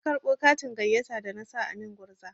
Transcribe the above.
Na karɓo katin gayyata da na sa a min gurza.